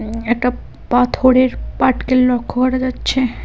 একটা পাথরের পাটকেল লক্ষ্য করা যাচ্ছে।